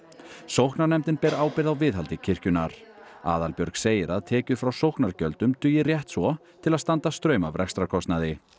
sóknarnefndin ber ábyrgð á viðhaldi kirkjunnar Aðalbjörg segir að tekjur frá sóknargjöldum dugi rétt svo til að standa straum af rekstrarkostnaði